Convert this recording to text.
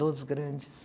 Dos grandes.